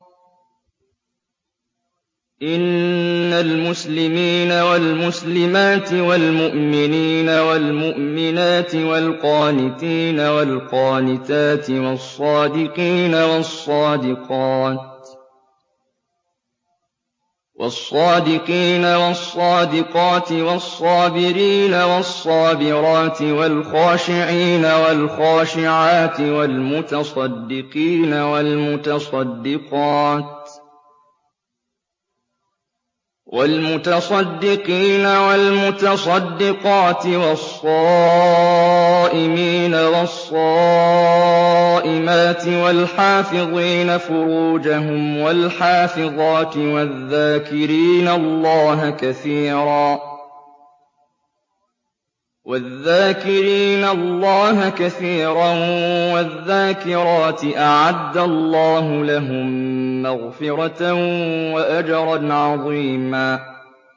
إِنَّ الْمُسْلِمِينَ وَالْمُسْلِمَاتِ وَالْمُؤْمِنِينَ وَالْمُؤْمِنَاتِ وَالْقَانِتِينَ وَالْقَانِتَاتِ وَالصَّادِقِينَ وَالصَّادِقَاتِ وَالصَّابِرِينَ وَالصَّابِرَاتِ وَالْخَاشِعِينَ وَالْخَاشِعَاتِ وَالْمُتَصَدِّقِينَ وَالْمُتَصَدِّقَاتِ وَالصَّائِمِينَ وَالصَّائِمَاتِ وَالْحَافِظِينَ فُرُوجَهُمْ وَالْحَافِظَاتِ وَالذَّاكِرِينَ اللَّهَ كَثِيرًا وَالذَّاكِرَاتِ أَعَدَّ اللَّهُ لَهُم مَّغْفِرَةً وَأَجْرًا عَظِيمًا